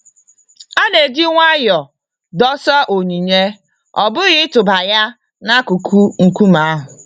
A na-eji nwayọ dosa onyinye, ọ bụghị ịtụba ya n'akụkụ nkume ahụ.